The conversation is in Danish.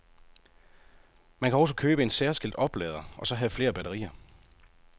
Man kan også købe en særskilt oplader, og så have flere batterier.